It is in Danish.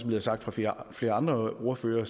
blevet sagt af flere flere andre ordførere